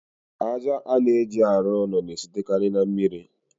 Aja a na-eji arụ ụlọ na-esitekarị na mmiri.